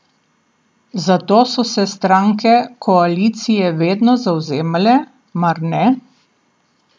Za to so se stranke koalicije vedno zavzemale, mar ne?